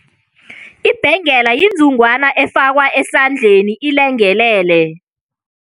Ibhengela inzungwana efakwa esandleni ilengelele.